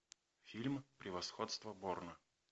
фильм превосходство борна